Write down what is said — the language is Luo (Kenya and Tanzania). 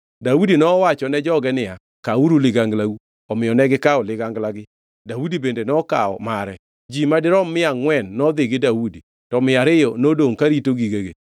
Daudi nowachone joge niya, “Kawuru liganglau!” Omiyo negikawo liganglagi Daudi bende nokawo mare. Ji madirom mia angʼwen nodhi gi Daudi, to mia ariyo nodongʼ karito gigegi.